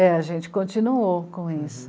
É, a gente continuou com isso.